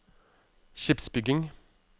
skipsbygging